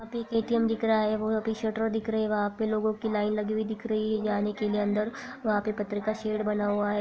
वहाँ पे एक ए_टी_एम दिख रहा है पीछे शटर दिख रही है वहां पे लोगों की लाइन लगी हुई दिख रही है जाने के लिए अंदर वहां पे पत्थर का शेड बना हुआ है।